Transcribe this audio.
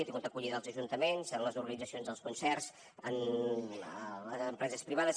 ha tingut acollida als ajuntaments a les organitzacions dels concerts a les empreses privades